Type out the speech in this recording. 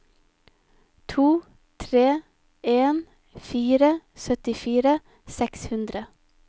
to tre en fire syttifire seks hundre